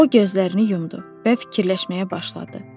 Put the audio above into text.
O gözlərini yumdu və fikirləşməyə başladı.